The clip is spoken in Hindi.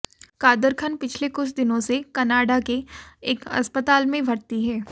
कादर खान पिछले कुछ दिनों से कनाडा के एक अस्पताल में भर्ती हैं